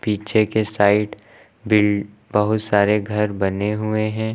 पीछे के साइड भी बहुत सारे घर बने हुए हैं।